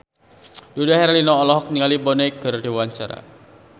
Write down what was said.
Dude Herlino olohok ningali Bono keur diwawancara